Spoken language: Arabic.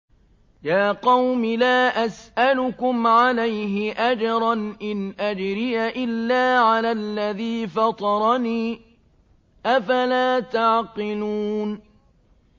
يَا قَوْمِ لَا أَسْأَلُكُمْ عَلَيْهِ أَجْرًا ۖ إِنْ أَجْرِيَ إِلَّا عَلَى الَّذِي فَطَرَنِي ۚ أَفَلَا تَعْقِلُونَ